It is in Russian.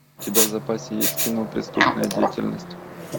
у тебя в запасе есть кино преступная деятельность